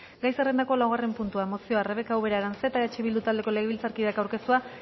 gai zerrendako laugarren puntua mozioa rebeka ubera aranzeta eh bildu taldeko legebiltzarkideak aurkeztua